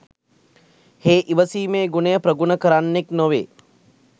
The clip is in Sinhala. හේ ඉවසීමේ ගුණය ප්‍රගුණ කරන්නෙක් නොවේ.